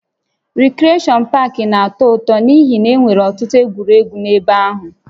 Rikreshọn pak na-atọ ụtọ n'ihi na e nwere ọtụtụ egwuregwu n'ebe ahụ